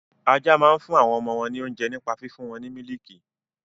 Ajá máa ń fún àwọn ọmọ wọn ní oúnjẹ nípa fífún wọn ní mílìkì.